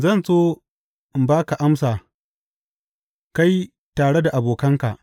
Zan so in ba ka amsa kai tare da abokanka.